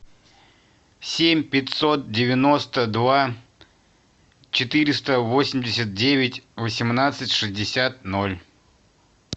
семь пятьсот девяносто два четыреста восемьдесят девять восемнадцать шестьдесят ноль